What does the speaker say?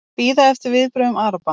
Bíða eftir viðbrögðum Araba